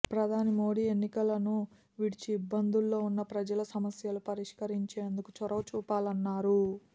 ప్రధాని మోదీ ఎన్నికలను విడిచి ఇబ్బందుల్లో ఉన్న ప్రజల సమస్యలు పరిష్కరించేందుకు చొరవ చూపాలన్నారు